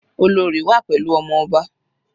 Olorì wà pẹ̀lú ọmọ ọba.